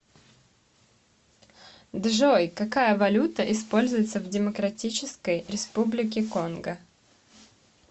джой какая валюта используется в демократической республике конго